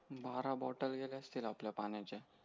बारा बोट्टल गेल्या असतील आपल्या पाण्याचा